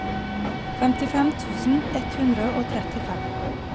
femtifem tusen ett hundre og trettifem